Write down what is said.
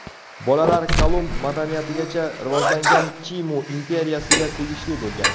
Bolalar Kolumb madaniyatigacha rivojlangan Chimu imperiyasiga tegishli bo‘lgan.